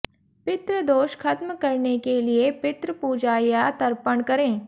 पितृ दोष खत्म करने के लिए पितृ पूजा या तर्पण करें